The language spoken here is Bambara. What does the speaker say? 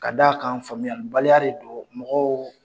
Ka d'a kan faamuyalibaliya de don mɔgɔw